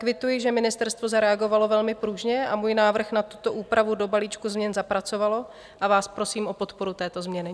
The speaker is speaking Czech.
Kvituji, že ministerstvo zareagovalo velmi pružně a můj návrh na tuto úpravu do balíčku změn zapracovalo, a vás prosím o podporu této změny.